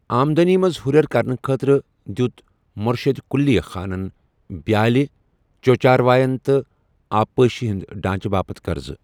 آمدٲنی منٛز ہُرٮ۪ر کرنہٕ خٲطرٕ، دِیُوت مۄرشِد قُلی خانَن بِیالہِ ، چو٘ چارواین تہٕ آ پٲشی ہٕنٛد ڈانٛچہٕ باپت قَرضہٕ۔